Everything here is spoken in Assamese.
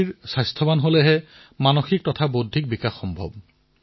অৰ্থাৎ অন্ন যেনেকুৱা হয় তেনেকুৱাই আমাৰ আমাৰ মানসিক আৰু বৌদ্ধিক বিকাশো হয়